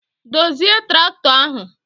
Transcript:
Dozie tractọ ahụ!